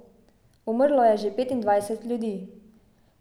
Umrlo je že petindvajset ljudi.